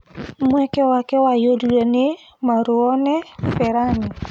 mweke wake waiyũririo ni Marouane Fellani